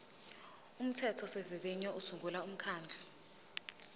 umthethosivivinyo usungula umkhandlu